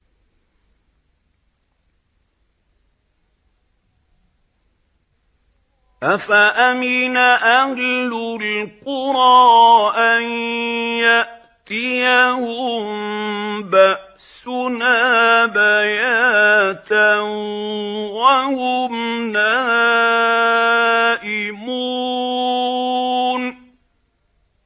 أَفَأَمِنَ أَهْلُ الْقُرَىٰ أَن يَأْتِيَهُم بَأْسُنَا بَيَاتًا وَهُمْ نَائِمُونَ